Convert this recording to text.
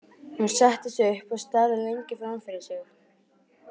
Hún settist upp og starði lengi fram fyrir sig.